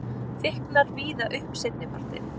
Þykknar víða upp seinnipartinn